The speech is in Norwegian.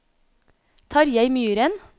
Tarjei Myren